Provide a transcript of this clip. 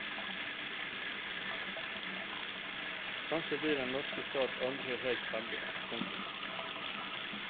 Kanskje blir den norske stat aldri helt ferdig. punktum